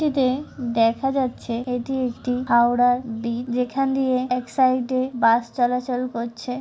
টিতে দেখা যাচ্ছে এটি একটি হাওড়ার ব্রিজ যেখান দিয়ে এক সাইড -এ বাস চলাচল করছে।